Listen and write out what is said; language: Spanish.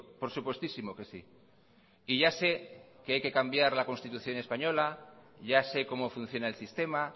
por supuestísimo que sí y ya sé que hay que cambiar la constitución española ya sé cómo funciona el sistema